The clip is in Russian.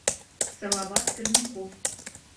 салават пермяков